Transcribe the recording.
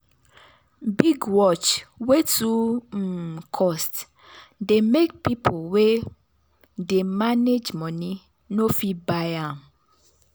big watch wey too um cost dey make people wey dey manage money no fit buy am.